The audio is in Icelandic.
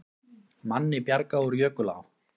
Manni bjargað úr jökulá